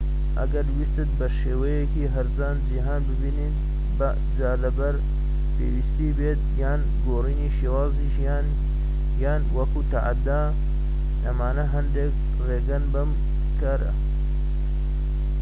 ئەگەر ویستت بە شێوەیەکی هەرزان جیهان ببینیت جا لەبەر پێویستی بێت یان گۆڕینی شێوازی ژیان یان وەکو تەحەدا ئەمانە هەندێك ڕێگەن بۆ ئەم کارە